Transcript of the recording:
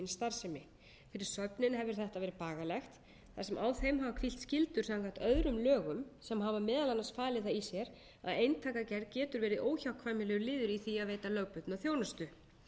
starfsemi fyrir söfnin hefur þetta verið bagalegt þar sem á þeim hafa hvílt skyldur samkvæmt öðrum lögum sem hafa meðal annars falið það í sér að eintakagerð getur verið óhjákvæmilegur liður í því að veita lögbundna þjónustu